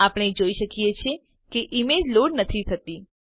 આપણે જોઈએ છીએ કે ઈમેજ લોડ નથી થતી